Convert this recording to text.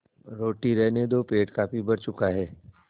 रोटी रहने दो पेट काफी भर चुका है